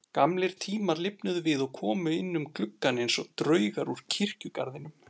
Gamlir tímar lifnuðu við og komu inn um gluggann einsog draugar úr kirkjugarðinum.